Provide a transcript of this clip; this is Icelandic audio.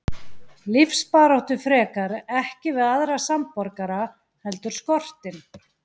Lífsbaráttu frekar, ekki við aðra samborgara heldur skortinn.